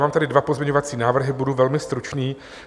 Mám tady dva pozměňovací návrhy, budu velmi stručný.